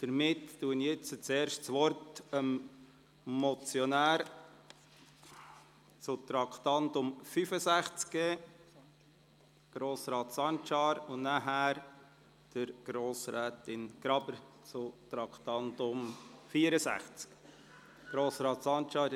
Damit erteile ich das Wort dem Motionär, Grossrat Sancar, zum Traktandum 65, und danach Grossrätin Graber zum Traktandum 64. Grossrat